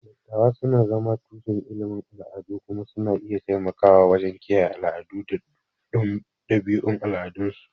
Dattawa suna zama tushen ilimin al'adu kuma suna iya taimakawa wajen kiyaye al'adu da ɗabi'un al'adunsu.